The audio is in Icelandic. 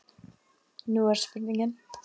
Nú er spurningin?